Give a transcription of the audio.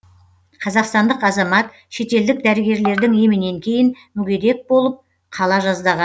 қазақстандық азамат шетелдік дәрігерлердің емінен кейін мүгедек болып қала жаздаған